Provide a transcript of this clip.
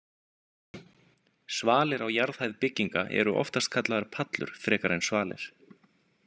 Svalir á jarðhæð bygginga eru oftast kallaðar pallur frekar en svalir.